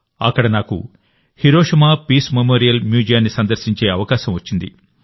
అక్కడ నాకు Hiroshima peace memorial మ్యూజియాన్ని సందర్శించే అవకాశం వచ్చింది